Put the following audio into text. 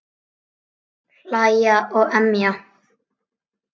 Hlæja og emja.